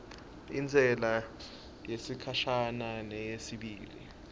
intsela yesikhashana yesibili